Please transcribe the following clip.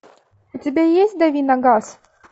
у тебя есть дави на газ